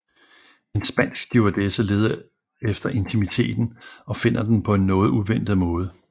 En spansk stewardesse leder efter intimiteten og finder den på en noget uventet måde